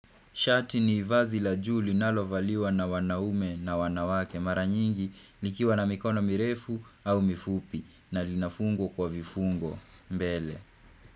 Shati ni vazi la juu linalovaliwa na wanaume na wanawake mara nyingi likiwa na mikono mirefu au mifupi na linafungwa kwa vifungo mbele.